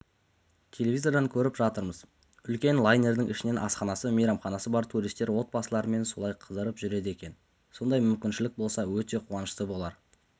телевизордан көріп жатырмыз үлкен лайнердің ішінен асханасы мейрамханасы бар туристер отбасыларымен солай қыдырып жүреді екен сондай мүмкіншілік болса өте қуанышты болар